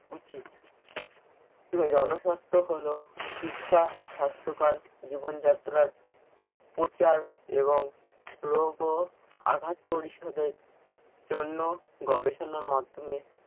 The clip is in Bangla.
উচিত। জনস্বাস্থ্য হল শিক্ষা, স্বাস্থ্যকর জীবনযাত্রার প্রচার এবং রোগ ও আঘাত পরিশোধের জন্য গবেষণার মাধ্যমে